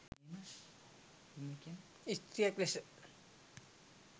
ස්ත්‍රියක් ලෙස